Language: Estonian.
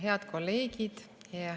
Head kolleegid!